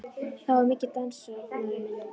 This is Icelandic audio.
Þá var mikið dansað, maður minn.